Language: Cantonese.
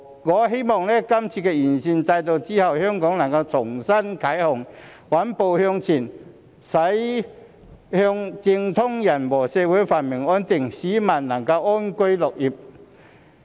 我希望今次完善選舉制度後，香港能重新啟航，穩步向前，駛向政通人和，社會繁榮安定，市民能安居樂業。